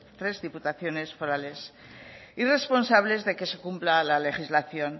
tres diputaciones forales y responsables de que se cumpla la legislación